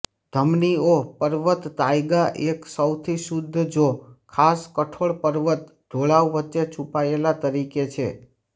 ધમનીઓ પર્વત તાઇગા એક સૌથી શુદ્ધ જો ખાસ કઠોર પર્વત ઢોળાવ વચ્ચે છૂપાયેલા તરીકે છે